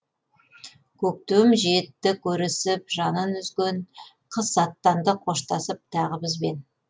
көктем жетті көрісіп жанын үзген қыс аттанды қоштасып тағы бізбен